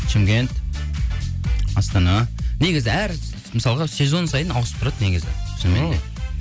шымкент астана негізі әр мысалға сезон сайын ауысып тұрады негізі